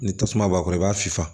Ni tasuma b'a kɔrɔ i b'a fifa